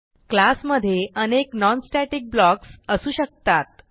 class मधे अनेक non static blocks असू शकतात